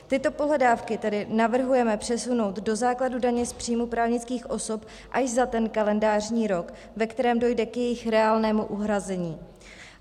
Tyto pohledávky tedy navrhujeme přesunout do základu daně z příjmu právnických osob až za ten kalendářní rok, v kterém dojde k jejich reálnému uhrazení.